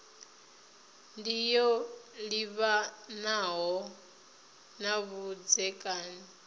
ndi yo livhanaho na vhudzekani